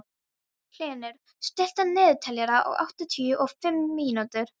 Hlynur, stilltu niðurteljara á áttatíu og fimm mínútur.